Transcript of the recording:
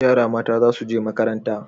Yara mata za su je makaranta